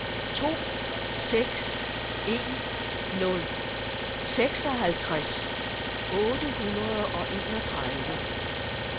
to seks en nul seksoghalvtreds otte hundrede og enogtredive